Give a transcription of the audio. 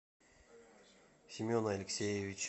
семена алексеевича